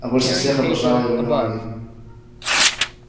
а больше всех обожала его мелани